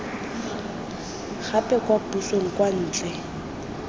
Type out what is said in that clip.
gape kwa pusong kwa ntle